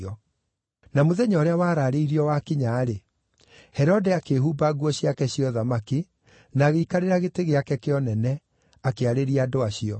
Na mũthenya ũrĩa waraarĩirio wakinya-rĩ, Herode akĩĩhumba nguo ciake cia ũthamaki, na agĩikarĩra gĩtĩ gĩake kĩa ũnene, akĩarĩria andũ acio.